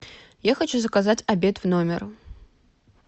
я хочу заказать обед в номер